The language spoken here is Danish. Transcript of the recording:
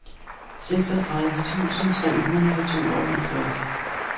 seksogtredive tusind tre hundrede og tooghalvtreds